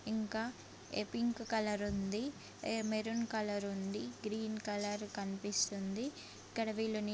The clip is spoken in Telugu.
ఇంకా ఎ పింక్ కలర్ ఉంది. ఎ మెరైన్ కలర్ ఉంది. గ్రీన్ కలర్ కనిపిసుంది. ఇక్కడ వీళ్ళు--